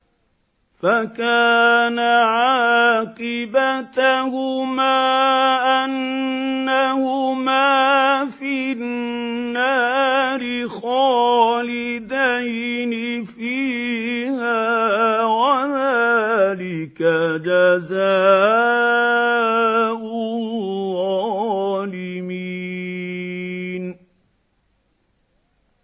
فَكَانَ عَاقِبَتَهُمَا أَنَّهُمَا فِي النَّارِ خَالِدَيْنِ فِيهَا ۚ وَذَٰلِكَ جَزَاءُ الظَّالِمِينَ